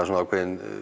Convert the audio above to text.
svona ákveðin